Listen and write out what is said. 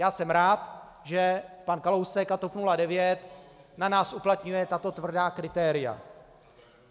Já jsem rád, že pan Kalousek a TOP 09 na nás uplatňují tato tvrdá kritéria.